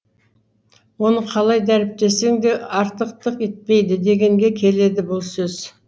оны қалай дәріптесең де артықтық етпейді дегенге келеді бұл сөз